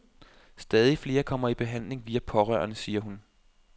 Stadig flere kommer i behandling via pårørende, siger hun.